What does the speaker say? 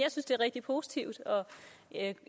det er rigtig positivt og jeg